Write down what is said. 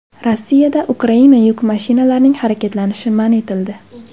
Rossiyada Ukraina yuk mashinalarining harakatlanishi man etildi.